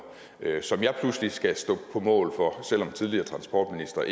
som jeg pludselig skal stå på mål for selv om tidligere transportministre